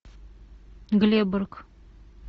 глеборг